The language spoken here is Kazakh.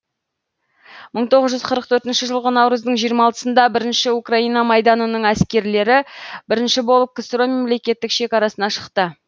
мың тоғыз жүз қырық бірінші жылғы наурыздың жиырма алтысында бірінші украина майданының әскерлері бірінші болып ксро мемлекеттік шекарасына шықты